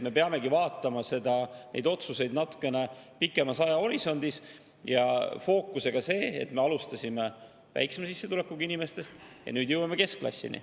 Me peamegi vaatama neid otsuseid natukene pikemas ajahorisondis, fookusega sellel, et me alustasime väiksema sissetulekuga inimestest, ja nüüd jõuame keskklassini.